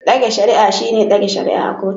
Dage shari'ar shine dage shari'a a kotu.